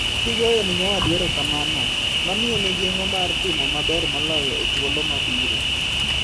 Kigoyone nyawadu erokamano, ma miye mijing’o mar timo maber moloyo e thuolo mabiro.